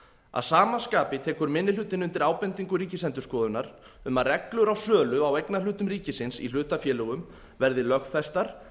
að sama skapi tekur minni hlutinn undir ábendingu ríkisendurskoðunar um að reglur um sölu á eignarhlutum ríkisins í hlutafélögum verði lögfestar